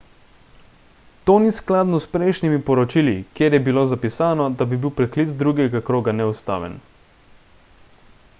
to ni skladno s prejšnjimi poročili kjer je bilo zapisano da bi bil preklic drugega kroga neustaven